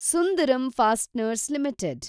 Sundaram fasteners limited